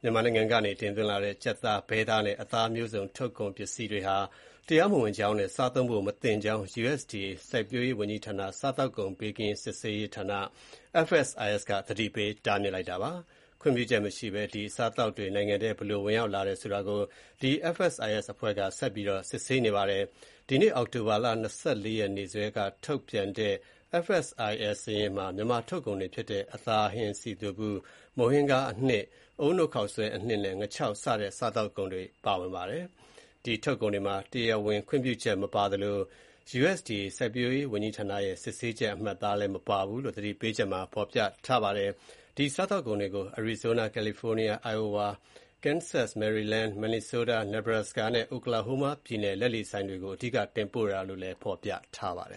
မြန်မာနိုင်ငံကနေ တင်လာသွင်းတဲ့ ကြက်သား၊ ဘဲသားနဲ့ အသားမျိုးစုံ ထုတ်ကုန်ပစ္စည်းတွေဟာ တရားမဝင်ကြောင်းနဲ့ စားသုံးဖို့ မသင့်ကြောင်း လယ်ယာစိုက်ပျိုးရေးဝန်ကြီးဌာနအောက်က စားသောက်ကုန်ဘေးကင်းလုံခြုံရေးနဲ့ စစ်ဆေးရေးဌာန FSIS က သတိပေးတားမြစ်လိုက်ပါတယ်။ ခွင့်ပြုချက်မရှိဘဲ ဒီအစားအသောက်တွေနိုင်ငံထဲ ဘယ်လိုဝင်ရောက်လာတယ်ဆိုတာ FSIS က ဆက်ပြီးစစ်ဆေးနေပါတယ်။ ဒီနေ့ အောက်တိုဘာ ၂၄ နေ့စွဲနဲ့ ထုတ်ပြန်တဲ့ စာရင်းမှာ မြန်မာထုတ်ကုန်တွေဖြစ်တဲ့ အသားဟင်း စည်သွပ်ဗူး၊ မုန့်ဟင်းခါးအနှစ်၊ အုန်းနို့ခေါက်ဆွဲအနှစ်နဲ့ ငါးခြောက်စတဲ့ စားသောက်ကုန်တွေပါဝင်ပါတယ်။ ဒီထုတ်ကုန်တွေမှာ တရားဝင်ခွင့်ပြုချက်မပါသလို၊ USDA စစ်ဆေးချက်အမှတ်အသားလည်း မပါဘူးလို့ သတိပေးချက်မှာဖော်ပြထားပါတယ်။ ဒီစားသောက်ကုန်တွေကို Arizona၊ California၊ Iowa၊ Kansas၊ Maryland၊ Minnesota၊ Nebraska နဲ့ Oklahoma ပြည်နယ် လက်လီဆိုင်တွေကို အဓိက တင်ပို့တာဖြစ်တယ်လို့လည်း ဖော်ပြပါတယ